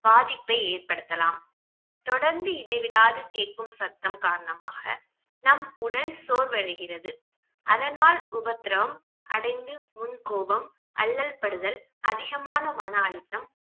பாதிப்பை ஏற்படுத்தலாம் தொடர்ந்து இடைவிடாது கேட்கும் சத்தம் காரணமாக நம் உடல் சோர்வடைகிறது அதனால் உபத்திரம் அடைந்து முன்கோபம் அல்லல்படுதல் அதிகமான மன அழுத்தம்